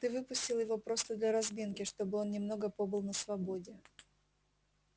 ты выпустил его просто для разминки чтобы он немного побыл на свободе